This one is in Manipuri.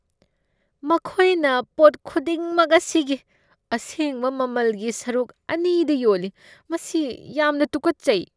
ꯃꯈꯣꯏꯅ ꯄꯣꯠ ꯈꯨꯗꯤꯡꯃꯛ ꯃꯁꯤꯒꯤ ꯑꯁꯦꯡꯕ ꯃꯃꯜꯒꯤ ꯁꯔꯨꯛ ꯑꯅꯤꯗ ꯌꯣꯜꯂꯤ꯫ ꯃꯁꯤ ꯌꯥꯝꯅ ꯇꯨꯀꯠꯆꯩ꯫